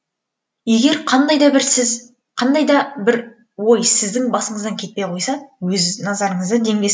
егер қандай да бір ой сіздің басыңыздан кетпей қойса өз назарыңызды демге